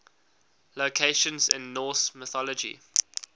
locations in norse mythology